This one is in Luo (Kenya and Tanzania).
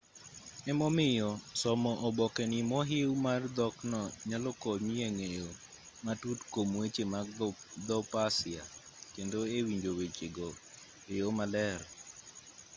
emomiyo somo oboke ni mohiw mar dhokno nyalo konyi e ng'eyo matut kuom weche mag dho persia kendo e winjo weche go e yo maler